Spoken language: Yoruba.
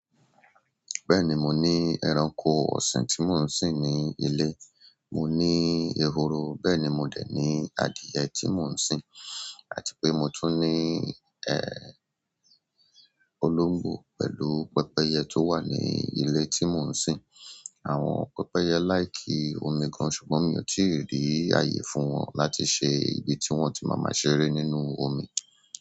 Bẹ́ẹ̀ni, mo ní ẹranko ọ̀sìn tí mò ń sìn ní ilé. Mò ní ehoro, bẹ́ẹ̀ ni mo dè ní adìẹ tí mò ń sìn àti pé mo tún ní, ẹ, olóǹgbò pẹ̀lú pẹ́pẹ́yẹ tó wà ní ilé tí mò ń sìn. Àwọn pẹ́pẹ́yẹ láì kí omi gan-an ṣùgbọ́n mi ò tíì rí ààyè fún wọn láti ṣe ibi tí wọ́n ti máa má ṣeré nínú omi.